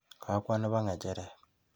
Kakwo nebo ng'echeret.